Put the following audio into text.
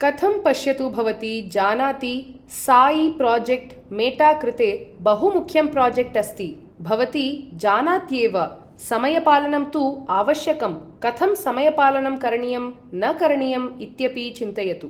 कथं पश्यतु भवती जानाति साइ प्राजेक्ट् मेटा कृते बहु मुख्यं प्राजेक्ट् अस्ति भवती जानात्येव समयपालनं तु आवश्यकं कथं समयपालनं करणीयं न करणीयम् इत्यपि चिन्तयतु